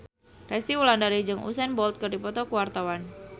Resty Wulandari jeung Usain Bolt keur dipoto ku wartawan